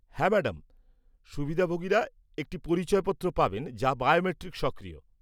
হ্যাঁ ম্যাডাম! সুবিধাভোগীরা একটি পরিচয়পত্র পাবেন যা বায়োমেট্রিক সক্রিয়।